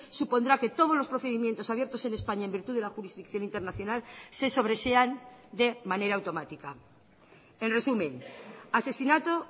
supondrá que todos los procedimientos abiertos en españa en virtud de la jurisdicción internacional se sobresean de manera automática en resumen asesinato